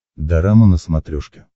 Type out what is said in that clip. дорама на смотрешке